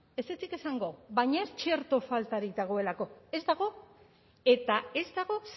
ezetzik esango baina ez txerto faltarik dagoelako ez dago eta ez dago